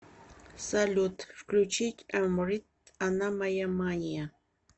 салют включить эмрид она моя мания